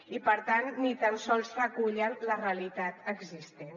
i per tant ni tan sols recullen la realitat existent